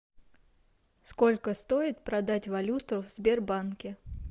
сколько стоит продать валюту в сбербанке